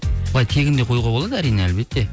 былай тегін де қоюға болады әрине әлбетте